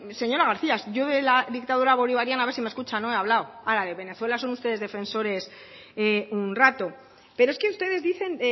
señora garcía yo de la dictadura bolivariana a ver si me escucha no he hablado ahora de venezuela son ustedes defensores un rato pero es que ustedes dicen